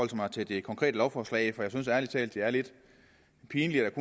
mig til det konkrete lovforslag for jeg synes ærlig talt det er lidt pinligt at